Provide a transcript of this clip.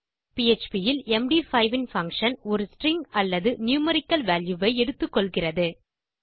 PHP இல் Md5ன் function ஒரு ஸ்ட்ரிங் அல்லது நியூமெரிக்கல் வால்யூ ஐ எடுத்துக்கொள்கிறது